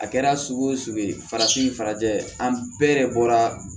A kɛra sugu o sugu ye farafin farajɛ an bɛɛ de bɔra